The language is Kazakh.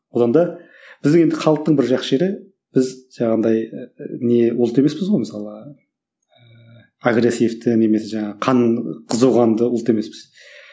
одан да біздің енді халықтың бір жақсы жері біз жаңағындай не ұлт емеспіз ғой мысалы агрессивті немесе жаңағы қан қызуқанды ұлт емеспіз